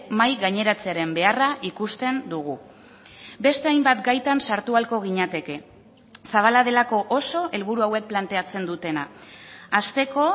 mahai gaineratzearen beharra ikusten dugu beste hainbat gaitan sartu ahalko ginateke zabala delako oso helburu hauek planteatzen dutena hasteko